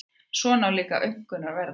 Svona líka aumkunarverða.